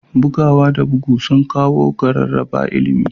Bugawa da bugu sun kawo sauyi ga rarraba ilimi